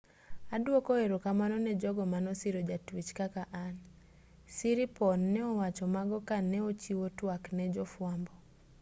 aduoko erokamano ne jogo manosiro jatuech kaka an siriporn ne owacho mago ka ne ochiwo twak ne jofuambo